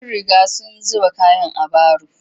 Sun riga sun zuba kayan a baro